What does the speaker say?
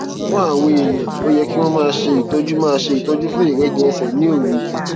fún àwọn èèyàn ó yẹ kí wón máa ṣe ìtọjú máa ṣe ìtọjú fún ìrẹjẹ ẹsè ní òru